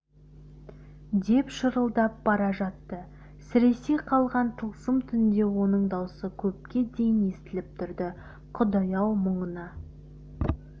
деп шырылдап бара жатты сіресе қалған тылсым түнде оның даусы көпке дейін естіліп тұрды құдай-ау мұныңа